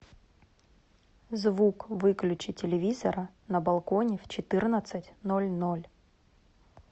звук выключи телевизора на балконе в четырнадцать ноль ноль